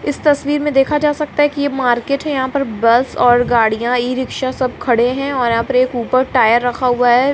इस तस्वीर मे देखा जा सकता है की ये मार्केट है यहाँ पर बस और गाड़ियां ई-रिक्शा सब खड़े है और यहाँ पर एक ऊपर टायर रखा हुआ है।